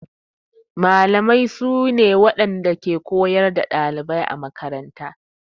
Mallamai suna ne na waɗanda ke koyar da ɗalibai a makaranta.